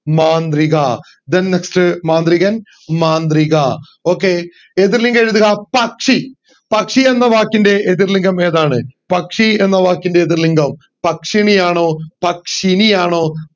മാന്ത്രിക then next മാന്ത്രികൻ മാന്ത്രിക okay എതിർ ലിംഗം എഴുതുക പക്ഷി പക്ഷി എന്ന വാക്കിന്റെ എതിർ ലിംഗം ഏതാണ് പക്ഷി എന്ന വാക്കിന്റെ എതിർ ലിംഗം പക്ഷിണി ആണോ പക്ഷിനി ആണോ